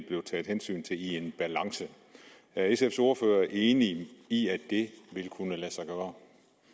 blev taget hensyn til i en balance er sfs ordfører enig i at det vil kunne lade sig gøre